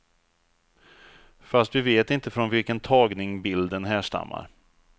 Fast vi vet inte från vilken tagning bilden härstammar.